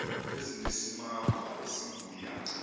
ezinesimamva esingu ya